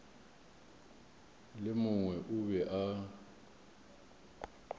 le mongwe o be a